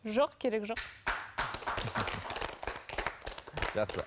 жоқ керек жоқ жақсы